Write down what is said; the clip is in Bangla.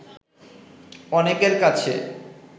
অনেকের কাছে